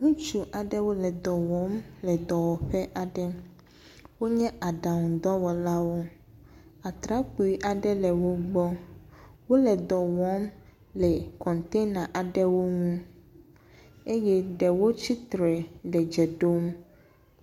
Ŋutsu aɖewo le dɔ wɔm le dɔwɔƒe aɖe. Wonye aɖaŋudɔwɔlawo. Atrakpui aɖe le wo gbɔ wole dɔm le kɔntena aɖewo ŋu eye ɖewo tsi tre le dze ɖom.